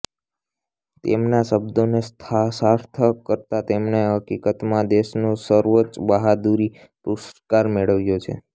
તેમના શબ્દોને સાર્થક કરતાં તેમણે હકીકતમાં દેશનું સર્વોચ્ચ બહાદુરી પુરસ્કાર મેળવ્યો